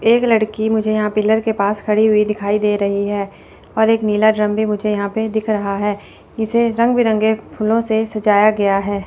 एक लड़की मुझे यहां पिलर के पास खड़ी हुई दिखाई दे रही है और एक नीला ड्रम भी मुझे यहां पे दिख रहा है इसे रंग बिरंगे फूलों से सजाया गया है।